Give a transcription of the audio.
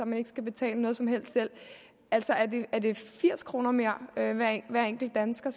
man ikke skal betale noget som helst selv altså er det firs kroner mere hver enkelt dansker